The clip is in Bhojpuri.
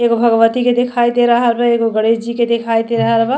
एगो भगवती के दिखाई दे रहल बा एगो गणेश जी के दिखाई दे रहल बा।